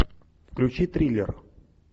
включи триллер